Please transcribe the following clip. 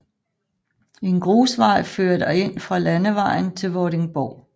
En grusvej fører derind fra landevejen til Vordingborg